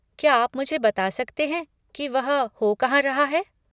क्या आप मुझे बता सकते हैं की वह हो कहाँ रहा है।